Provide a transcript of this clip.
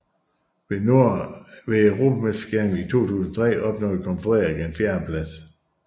Ved Europamesterskaberne i 2003 opnåede Kronprins Frederik en fjerdeplads